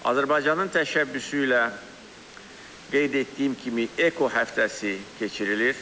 Azərbaycanın təşəbbüsü ilə qeyd etdiyim kimi eko həftəsi keçirilir.